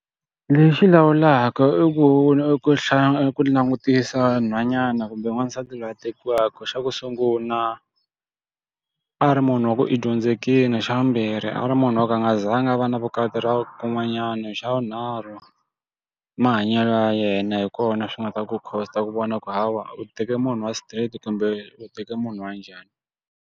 Lexi lawulaka i ku i ku hlaya i ku langutisa nhwanyana kumbe n'wansati loyi a tekiwaka xa ku sungula, a ri munhu wa ku i dyondzekile, xa vumbirhi a ri munhu wo ka a nga zanga a va na vukati ku n'wanyana, xa vunharhu, mahanyelo ya yena hi kona swi nga ta ku cost-a ku vona ku hawa u teke munhu wa straight kumbe u teke munhu wa njhani.